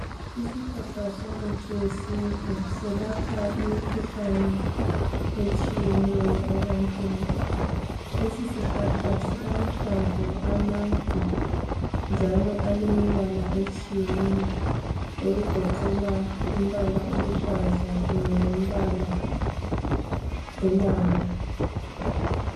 Isihlahla somuthi wesintu selapha imkhuhlane etshiyeneyo ebantwini lesisihlahla silahlamvu amade njalo elemibala etshiyeneyo okugoqela umbala oluhlaza kunye lombala welanga